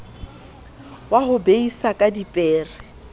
wa ho beisa ka dipere